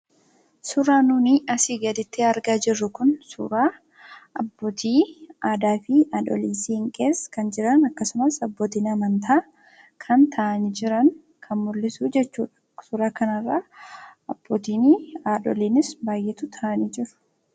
Suuraa nuuni asi gadittti argaa jirru kun, suuraa abbootii aadaa fi haadhoolii siinqee kan jiran abbootiin amantaa kan ta'ani jiran kan mul'isu jechuudha. suuraa kanarra abbootiinis, haadhooliinis baay'eetu taa'aanii jiru.